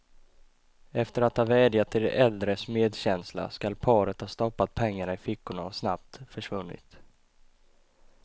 Efter att ha vädjat till de äldres medkänsla skall paret ha stoppat pengarna i fickorna och snabbt försvunnit.